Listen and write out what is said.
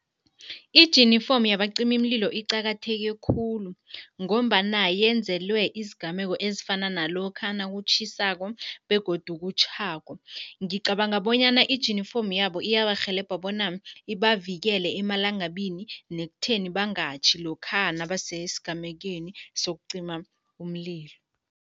Ijinifomu yabacimimlilo iqakatheke khulu ngombana yenzelwe izigameko ezifana nalokha nakutjhisako begodu kutjhako. Ngicabanga bona ijinifomu yabo iyabarhelebha bona ibavikele amalangabini nekuthatheni bangatjhi lokha nabasesigamekweni sokucima umlilo.